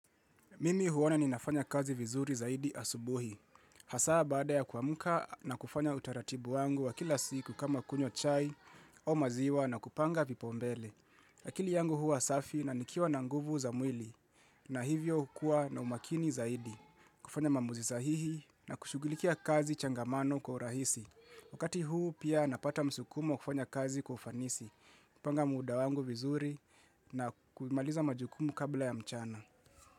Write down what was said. Mimi huona ninafanya kazi vizuri zaidi asubuhi. Hasaa baada ya kuamka na kufanya utaratibu wangu wa kila siku kama kunywa chai au maziwa na kupanga vipaumbele. Akili yangu huwa safi na nikiwa na nguvu za mwili na hivyo hukua na umakini zaidi. Kufanya maamuzi sahihi na kushughulikia kazi changamano kwa urahisi. Wakati huu pia napata msukumo kufanya kazi kwa ufanisi. Kupanga muda wangu vizuri na kumaliza majukumu kabla ya mchana.